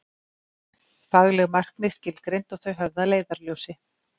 Fagleg markmið skilgreind og þau höfð að leiðarljósi.